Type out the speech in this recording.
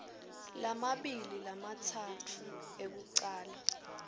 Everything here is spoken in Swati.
lamabili lamatsatfu ekucala